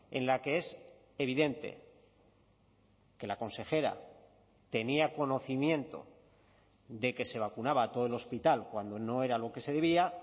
en la que es evidente que la consejera tenía conocimiento de que se vacunaba a todo el hospital cuando no era lo que se debía